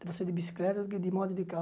Você é de bicicleta, que de moto, de carro.